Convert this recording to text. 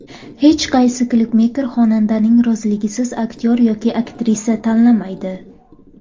Hech qaysi klipmeyker xonandaning roziligisiz aktyor yoki aktrisa tanlamaydi.